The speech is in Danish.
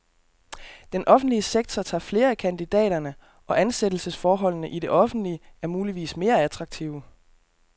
Den offentlige sektor tager flere af kandidaterne, og ansættelsesforholdene i det offentlige er muligvis mere attraktive.